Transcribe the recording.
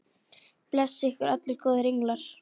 Blessi ykkur allir góðir englar.